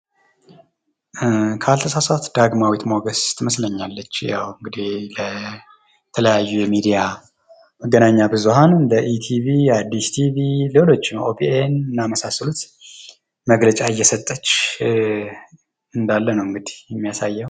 ካልተሳሳትሁ ዳግማዊት ሞገስ ትመስለኛለች። ለተለያዩ የመገናኛ ብዙኃን እንደ ኢቲቪ፣ አዲስ ቲቪ ሌሎችን ኦቢኤን የመሳሰሉት መግለጫ እየሰጠች ነዉ የሚያሳየዉ።